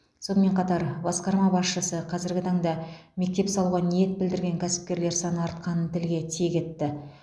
сонымен қатар басқарма басшысы қазіргі таңда мектеп салуға ниет білдірген кәсіпкерлер саны артқанын тілге тиек етті